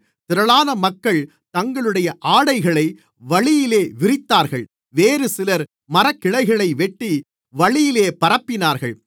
திரளான மக்கள் தங்களுடைய ஆடைகளை வழியிலே விரித்தார்கள் வேறுசிலர் மரக்கிளைகளை வெட்டி வழியிலே பரப்பினார்கள்